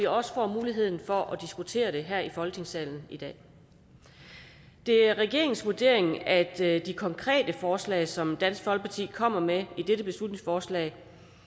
også får muligheden for at diskutere det her i folketingssalen i dag det er regeringens vurdering at de konkrete forslag som dansk folkeparti kommer med i dette beslutningsforslag